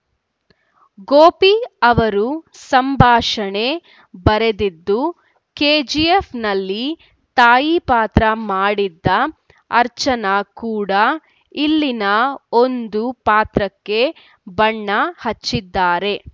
ಗೋಪಿ ಅವರು ಸಂಭಾಷಣೆ ಬರೆದಿದ್ದು ಕೆಜಿಎಫ್‌ ನಲ್ಲಿ ತಾಯಿ ಪಾತ್ರ ಮಾಡಿದ್ದ ಅರ್ಚನಾ ಕೂಡ ಇಲ್ಲಿನ ಒಂದು ಪಾತ್ರಕ್ಕೆ ಬಣ್ಣ ಹಚ್ಚಿದ್ದಾರೆ